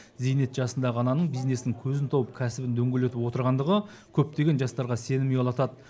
зейнет жасындағы ананың бизнестің көзін тауып кәсібін дөңгелетіп отырғандығы көптеген жастарға сенім ұялатады